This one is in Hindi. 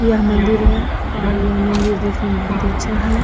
यह मंदिर है और यह मंदिर देखने में बहुत ही अच्छा है ।